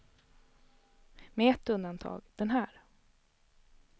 Med ett undantag, den här.